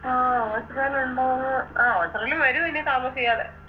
ആ ഓച്ചിറലോണ്ടാവോ അഹ് ഓച്ചിറലും വരും ഇനി താമസ്സയാതെ